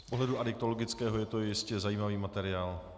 Z pohledu adiktologického je to jistě zajímavý materiál.